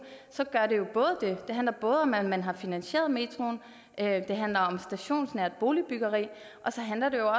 men handler både om at man har finansieret metroen det handler om stationsnært boligbyggeri og så handler det